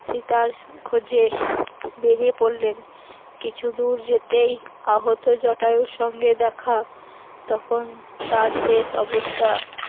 সীতার খোঁজে বেরিয়ে পড়লেন, কিছুদূর যেতেই আহত জটায়ুর সঙ্গে দেখা, তখন তার শেষ অবস্থা